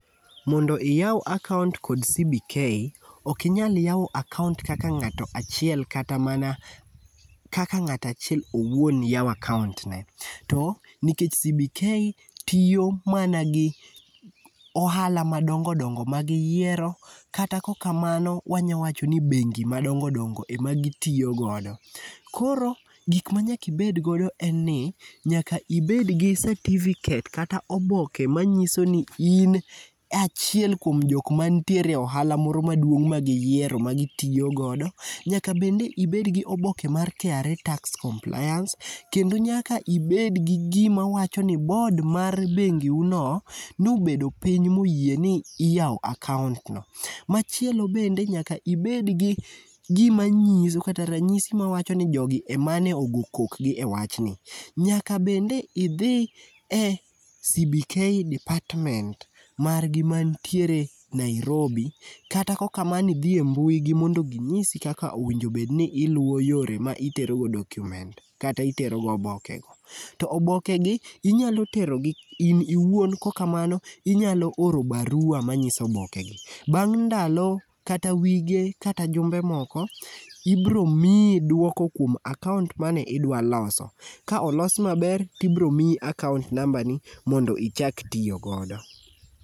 Mondo iyaw akaont kod CBK,ok inyal yawo akaont kaka ng'ato achiel kata mana kaka ng'ato achiel owuon yawo akaont ne to nikech CBK tiyo mana gi ohala madongo dongo magiyiero kata kaok kamano wanyalo wacho ni bengi madongo dongo ema gitiyo godo koro gik ma nyaka ibed godo en ni nyaka ibed gi satifiket kata oboke manyiso ni in achiel kuom jok mantiere e ohala moro maduong' ma giyiero magitiyo godo. Nyaka bende ibed gi oboke mar KRA tax compliance, kendo nyaka ibed gi gima wacho ni board mar bengiu no nobedo piny moyie ni iyawo akaont no. Machielo bende nyaka ibed gi gima nyiso kata ranyisi mawacho ni jogi ema ne ogo kokgi ewachni nyaka bende idhi e CBK department margi mantiere Nairobi kata kaok kamano, idhi mbui gi mondo ginyisi kaka owinjo bed ni iluwo yore ma itero godo documents kata itero godo oboke go. To obokegi inyalo tero gi n iwuon kaok kamano inyalo oro baruwa manyiso obokegi bang' ndalo ata wige kata jumbe moko ibiro miyi duoko kuom akaont mane idua loso kaok olos maber to ibiro miyi akaont nambani mondo ichak tiyo godo.